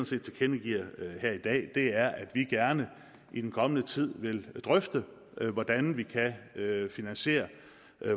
set tilkendegiver her i dag er at vi gerne i den kommende tid vil drøfte hvordan vi kan finansiere